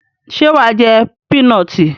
Ṣé wà á jé pínọọ̀tì?